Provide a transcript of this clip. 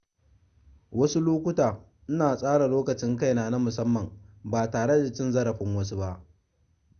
Wasu lokuta ina tsara lokacin kaina na musamman ba tare da cin zarafin wasu ba.